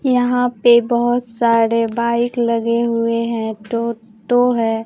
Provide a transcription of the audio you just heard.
यहां पर बहोत सारे बाइक लगे हुए हैं। टो टो है।